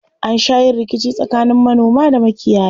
An sha yin rikici tsakanin manoma da makiyaya.